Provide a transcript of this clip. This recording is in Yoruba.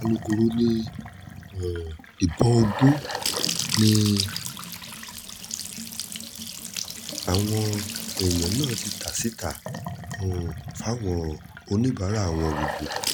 alūkkóró um ni ìbọn ogún làwọn èèyàn náà ti ta síta um fáwọn oníbàárà wọn gbogbo